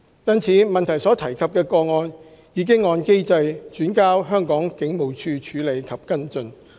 因此，質詢所提及的個案已按機制轉交香港警務處處理及跟進。